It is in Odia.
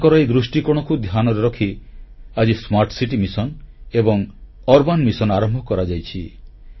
ତାଙ୍କର ଏହି ଦୃଷ୍ଟିକୋଣକୁ ଧ୍ୟାନରେ ରଖି ଆଜି ସ୍ମାର୍ଟ ସିଟି ମିଶନ ଏବଂ ସହରାଂଚଳ ମିଶନ ଆରମ୍ଭ କରାଯାଇଛି